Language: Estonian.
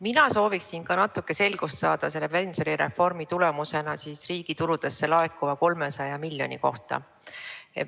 Mina sooviksin natuke selgust saada selle pensionireformi tulemusena riigi tuludesse laekuva 300 miljoni euro kohta.